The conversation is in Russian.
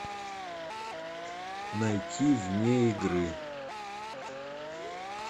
найти вне игры